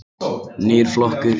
Nýr flokkur.